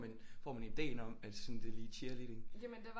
Man får man ideen om at sådan det er lige cheerleading